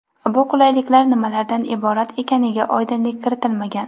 Bu qulayliklar nimalardan iborat ekaniga oydinlik kiritilmagan.